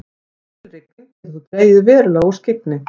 mikil rigning getur þó dregið verulega úr skyggni